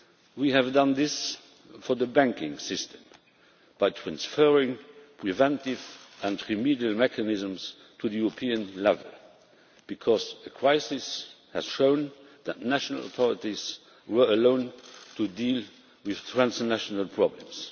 We have done this for the banking system by transferring preventive and remedial mechanisms to the European level because the crisis has shown that national authorities were left alone to deal with transnational problems.